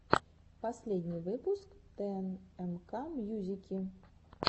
последний выпуск тнмкмьюзики